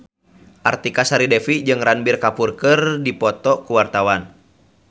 Artika Sari Devi jeung Ranbir Kapoor keur dipoto ku wartawan